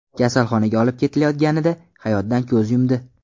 kasalxonaga olib ketilayotganida hayotdan ko‘z yumdi.